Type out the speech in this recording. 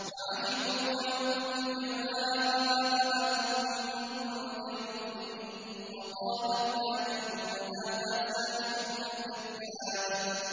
وَعَجِبُوا أَن جَاءَهُم مُّنذِرٌ مِّنْهُمْ ۖ وَقَالَ الْكَافِرُونَ هَٰذَا سَاحِرٌ كَذَّابٌ